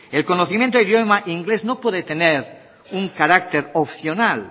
el conocimiento del idioma inglés no puede tener un carácter opcional